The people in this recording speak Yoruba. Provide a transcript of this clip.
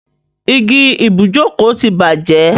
Igi ibùjókòó ti bàjẹ́.